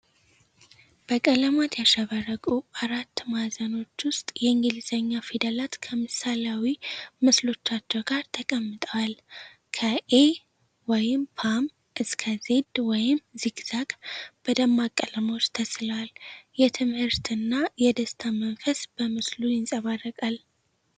በቀለማት ያሸበረቁ አራት ማዕዘኖች ውስጥ የእንግሊዝኛ ፊደላት ከምሳሌያዊ ምስሎቻቸው ጋር ተቀምጠዋል። ከ 'ኤ' (ፖም) እስከ 'ዜድ' (ዚግዛግ) በደማቅ ቀለሞች ተስለዋል። የትምህርትና የደስታ መንፈስ በምስሉ ይንጸባረቃል።